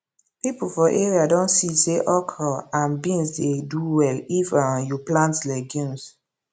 people for area don see say okra and beans dey do well if um you plant legumes